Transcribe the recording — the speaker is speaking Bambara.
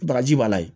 Baraji b'a la